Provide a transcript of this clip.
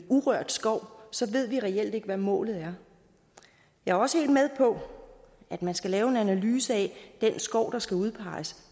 urørt skov så ved vi reelt ikke hvad målet er jeg er også helt med på at man skal lave en analyse af den skov der skal udpeges